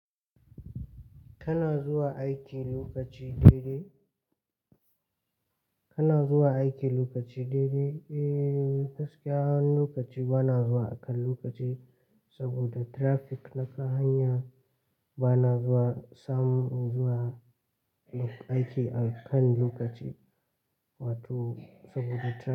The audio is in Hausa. Kana zuwa aiki lokaci daidai? Kana zuwa aiki lokaci daidai? Eee, gaskiya an lokaci bana zuwa akan lokaci saboda traffic na kan hanya bana zuwa sam zuwa aiki akan lokaci wato saboda traffic.